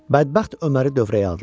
Bədbəxt Öməri dövrəyə aldılar.